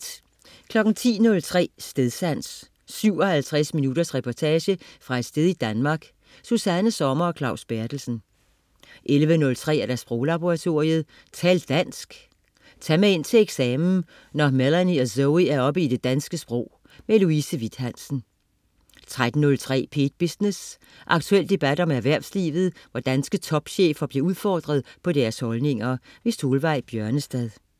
10.03 Stedsans. 57 minutters reportage fra et sted i Danmark. Susanna Sommer og Claus Berthelsen 11.03 Sproglaboratoriet. Tal dansk. Tag med ind til eksamen, når Melanie og Zoe er oppe i det danske sprog. Louise Witt-Hansen 13.03 P1 Business. Aktuel debat om erhvervslivet, hvor danske topchefer bliver udfordret på deres holdninger. Solveig Bjørnestad